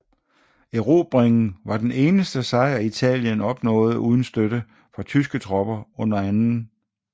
Erobringen var den eneste sejr Italien opnåede uden støtte fra tyske tropper under 2